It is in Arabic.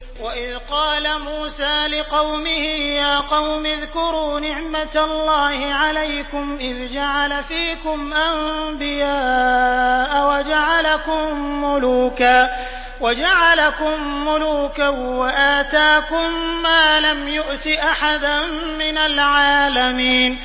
وَإِذْ قَالَ مُوسَىٰ لِقَوْمِهِ يَا قَوْمِ اذْكُرُوا نِعْمَةَ اللَّهِ عَلَيْكُمْ إِذْ جَعَلَ فِيكُمْ أَنبِيَاءَ وَجَعَلَكُم مُّلُوكًا وَآتَاكُم مَّا لَمْ يُؤْتِ أَحَدًا مِّنَ الْعَالَمِينَ